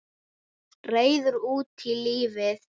Reiður út í lífið.